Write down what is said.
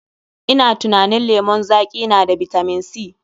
Ina tunanin lemon zaƙi na da bitamin C.